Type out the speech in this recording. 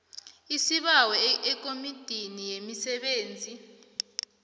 isibawo ekomitini yemisebenzi